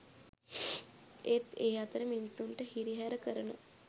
ඒත් ඒ අතරේ මිනිස්සුන්ටහිරිහැර කරන